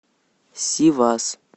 сивас